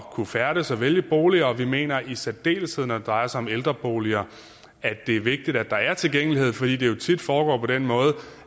kunne færdes og vælge boliger og vi mener i særdeleshed at når det drejer sig om ældreboliger er det vigtigt at der er tilgængelighed fordi det jo tit foregår på den måde